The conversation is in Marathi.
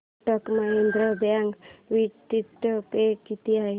Kotak Mahindra bank dividend pay किती आहे